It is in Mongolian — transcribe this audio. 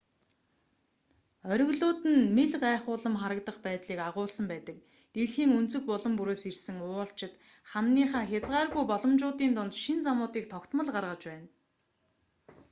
оргилууд нь мэл гайхуулам харагдах байдлыг агуулсан байдаг дэлхийн өнцөг булан бүрээс ирсэн уулчид хананыхаа хязгааргүй боломжуудын дунд шинэ замуудыг тогтмол гаргаж байна